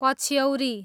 पछ्यौरी